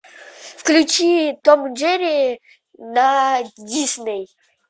включи том и джерри на дисней